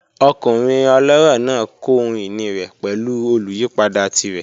Ọkunrin ọlọrọ naa kọ ohun-ini rẹ pẹlu oluyipada tirẹ.